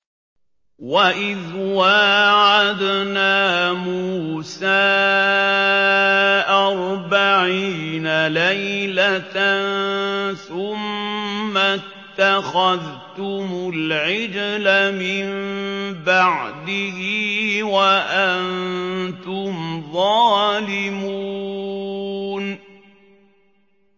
وَإِذْ وَاعَدْنَا مُوسَىٰ أَرْبَعِينَ لَيْلَةً ثُمَّ اتَّخَذْتُمُ الْعِجْلَ مِن بَعْدِهِ وَأَنتُمْ ظَالِمُونَ